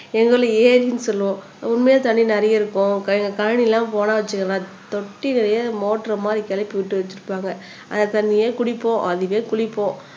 எங்க ஊர்ல ஏரின்னு சொல்லுவோம் உண்மையா தண்ணி நிறைய இருக்கும் கழனிலாம் போனா வச்சுக்கோவேன் தொட்டியெல்லாம் மோட்டர் மாதிரி கெளப்பி விட்டு வச்சிருப்பாங்க